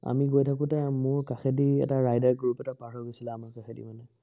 আমি গৈ থাকোঁতে মোৰ কাষেদি এটা rider group এটা পাৰ হৈ গৈছিলে আমাৰ কাষেদি মানে